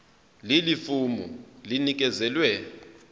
leli fomu linikezelwe